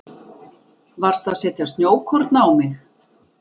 Varstu að setja snjókorn á mig?